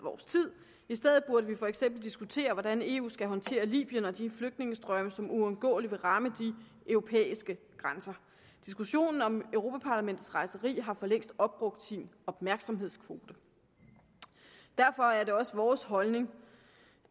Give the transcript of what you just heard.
i stedet burde vi for eksempel diskutere hvordan eu skal håndtere libyen og de flygtningestrømme som uundgåeligt vil ramme de europæiske grænser diskussionen om europa parlamentets rejseri har for længst opbrugt sin opmærksomhedskvote derfor er det også vores holdning